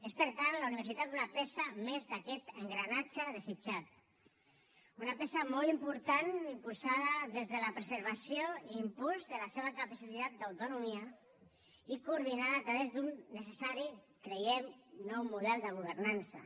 és per tant la universitat una peça més d’aquest engranatge desitjat una peça molt important impulsada des de la preservació i l’impuls de la seva capacitat d’autonomia i coordinada a través d’un necessari creiem nou model de governança